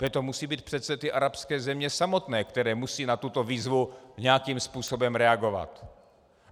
To musí být přece ty arabské země samotné, které musí na tuto výzvu nějakým způsobem reagovat.